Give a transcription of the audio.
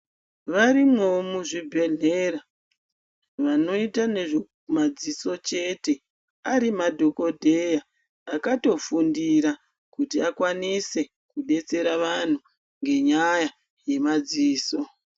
Varimwoo muzvibhedhlera vanoita nezvemadziso chete ari madhokodheya akatofundira kuti akwanise kudetsera vantu ngenyaya yemadziso.